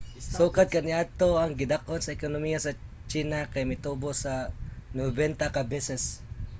sukad kaniadto ang gidak-on sa ekonomiya sa china kay mitubo sa 90 ka beses